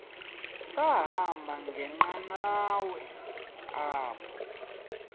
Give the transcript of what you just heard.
sahamba ngenqanawa apha